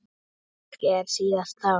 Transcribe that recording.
Kannski ekki síst þá.